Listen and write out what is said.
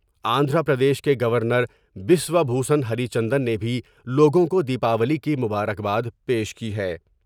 آندھرا پردیش کے governor Biswa Bhushan Harichandan نے بھی لوگوں کو د یپاولی کی مبارکباد پیش کی ہے ۔